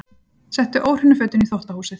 Settu óhreinu fötin í þvottahúsið.